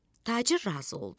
Tacir razı oldu.